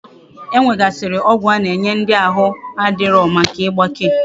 E nwegasiri ogwu ana enye ndi ahu na adiro Maka igbake